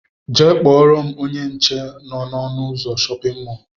Jee kpọrọ m ónyé nche nọ n'ọnu ụzọ shóppin mol!!!